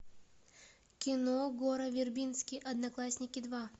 кино гора вербински одноклассники два